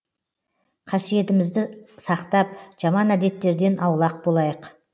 қасиетімізді сақтап жаман әдеттерден аулақ болайық